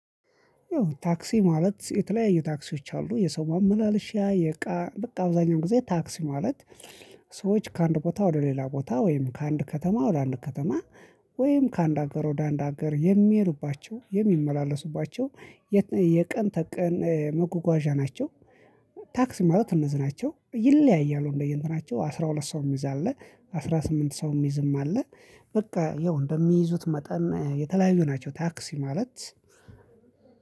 ታክሲ ማለት የተለያየ ታክሲዎች አሉ። የሰው ማመላለሻ የእቃ በቃ አብዛኛው ጊዜ ታክሲ ማለት ሰዎች ከአንድ ቦታ ወደ ሌላ ቦታ ወይም ከአንድ ከተማ ወደ አንድ ከተማ ወይም ከአንድ ሀገር ወደ አንድ ሀገር የሚሄዱባቸው የሚመላለሱባቸው የቀን ተቀን መጓጓዣ ናቸው ታክሲ ማለት እነዚህ ናቸው። ይለያያሉ እንደየስራቸው አስራ ሁለት ሰው ሚይዝ አለ አስራ ስምንት ሰው ሚይዝም አለ። በቃ ያው እንደሚይዙት መጠን የተለያዩ ናቸው ታክሲ ማለት